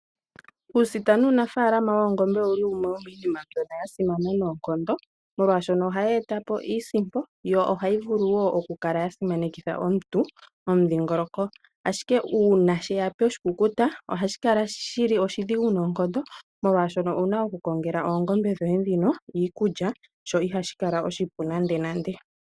Uusita nuunaafalama woongombe owuli wumwe womiinima mbyono ya simana noonkondo molwashono ohayi eta po iisimpo yo ohayi vulu woo oku kala yasimanekitha omuntu momundhingoloko ashike uuna sheya poshikukuta ohashi kala shili oshidhigu noonkondo molwashono owuna oku kongela oongombe dhoye ndhino iikulya sho ihashi kala oshipu nande nande.